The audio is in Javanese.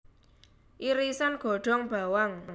Irisan godhong bawang